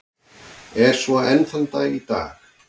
Er svo enn þann dag í dag.